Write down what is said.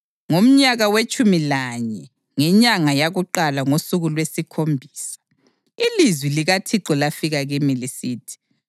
Ngomnyaka wetshumi lanye, ngenyanga yakuqala ngosuku lwesikhombisa, ilizwi likaThixo lafika kimi lisithi: